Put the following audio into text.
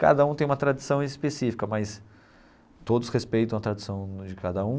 Cada um tem uma tradição específica, mas todos respeitam a tradição de cada um.